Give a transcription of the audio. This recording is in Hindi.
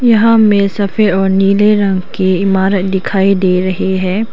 यहां में सफेद और नीले रंग की इमारत दिखाई दे रही है।